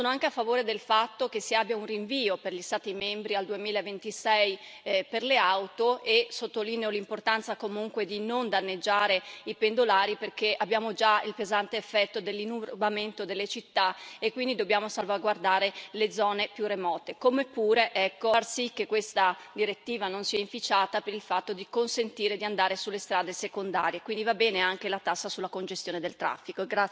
Sono anche a favore del fatto che si abbia un rinvio per gli Stati membri al 2026 per le auto e sottolineo l'importanza di non danneggiare i pendolari, perché abbiamo già il pesante effetto dell'inurbamento delle città e quindi dobbiamo salvaguardare le zone più remote, come pure far sì che questa direttiva non sia inficiata per il fatto di consentire di andare sulle strade secondarie, quindi va bene anche la tassa sulla congestione del traffico.